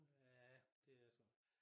Ja det er sådan